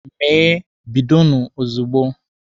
Mee! bidonụ ozugbo!